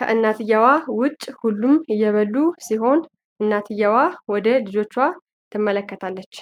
ከእናትየዋ ዉጪ ሁሉም እየበሉ ሲሆን እናትየዋ ወደ ልጆቹ ትመለከታለች።